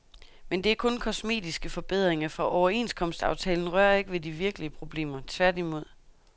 Men det er kun kosmetiske forbedringer, for overenskomstaftalen rører ikke ved de virkelige problemer, tværtimod.